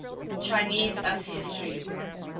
chinese us history